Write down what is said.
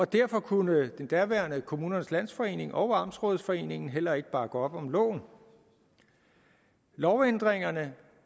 derfor kunne det daværende kommunernes landsforening og amtsrådsforeningen heller ikke bakke op om loven lovændringerne